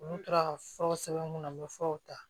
Olu tora ka furaw sɛbɛn n kunna n bɛ furaw ta